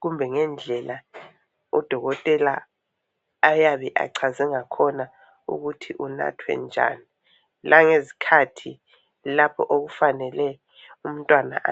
kumbe ngendlela udokotela ayabe achaze ngakhona ukuthi unathwe njani, langezikhathi lapho okufanele umntwana a